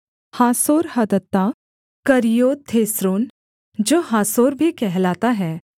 हासोर्हदत्ता करिय्योथेस्रोन जो हासोर भी कहलाता है